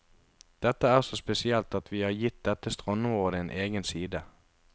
Dette er så spesielt at vi har gitt dette strandområdet en egen side.